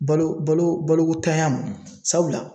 Balo balo ko ntanya ma .Sabula